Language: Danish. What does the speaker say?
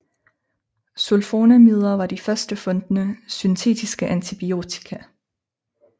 Sulfonamider var de først fundne syntetiske antibiotika